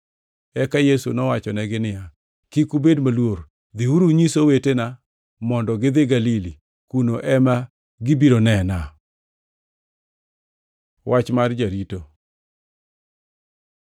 Eka Yesu nowachonegi niya, “Kik ubed maluor. Dhiuru unyis owetena mondo gidhi Galili; kuno ema gibiro nena.” Wach mar jorito